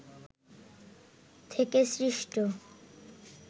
থেকে সৃষ্ট